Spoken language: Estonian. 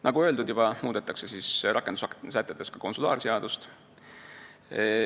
Nagu juba öeldud, muudetakse rakendussätetes ka konsulaarseadust.